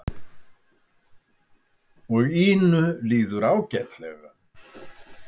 Og Ínu líður ágætlega.